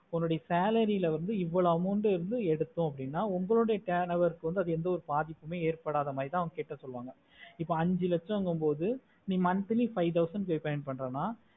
உன்னோட salary ல வந்து இவோலோவு amount எடுட்டோம் அப்புடின்னா உங்களோட turn over கு எந்த ஒரு பாதிப்பும் ஏற்படத்தமாதிரிதா அவங்க கேட்ட சொல்லுவாங்க இப்போ அஞ்சி லச்சகமோடு நீ five thousand pay பண்றோம்னா